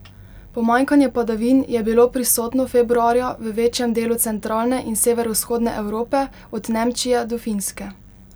Pomanjkanje padavin je bilo prisotno februarja v večjem delu centralne in severovzhodne Evrope od Nemčije do Finske.